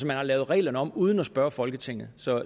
man har lavet reglerne om uden at spørge folketinget så